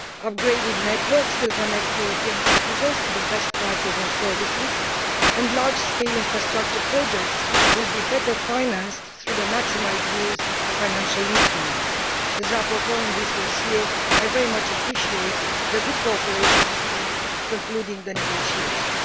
Upgraded networks will connect European citizens to the best prices and services, and large scale infrastructure projects will be better financed through maximised use of financial instruments. As rapporteur on this dossier, I very much appreciate the good cooperation we had in concluding the negotiations.